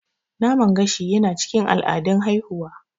Naman gashi yana cikin al'adun haihuwa.